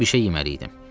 Çünki bir şey yeməli idim.